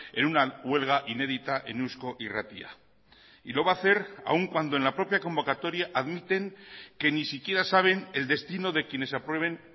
en una huelga inédita en eusko irratia y lo va a hacer aun cuando en la propia convocatoria admiten que ni siquiera saben el destino de quienes aprueben